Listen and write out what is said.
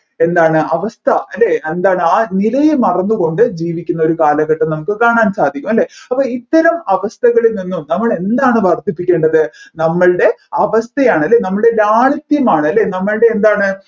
എന്താണ് അവസ്ഥ അല്ലെ എന്താണ് ആ നിലയെ മറന്നുകൊണ്ട് ജീവിക്കുന്ന ഒരു കാലഘട്ടം നമ്മുക്ക് കാണാൻ സാധിക്കും അല്ലെ അപ്പോൾ ഇത്തരം അവസ്ഥകളിൽ നിന്നും നമ്മൾ എന്താണ് വർധിപ്പിക്കേണ്ടത് നമ്മൾടെ അവസ്ഥയാണ് അല്ലെ നമ്മൾടെ ലാളിത്യമാണ് അല്ലെ നമ്മൾടെ എന്താണ്